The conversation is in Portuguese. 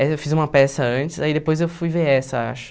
Mas eu fiz uma peça antes, aí depois eu fui ver essa, acho.